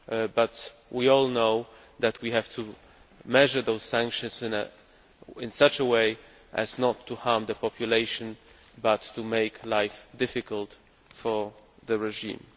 but we all know that we have to measure those sanctions in such a way as not to harm the population but to make life difficult for the regime.